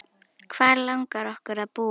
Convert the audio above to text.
Hvar langar okkur að búa?